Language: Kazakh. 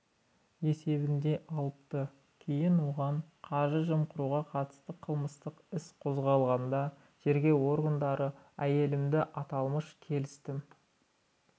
есебінде алыпты кейін оған қаржы жымқыруға қатысты қылмыстық іс қозғалғанда тергеу органдары әйелімді аталмыш келісім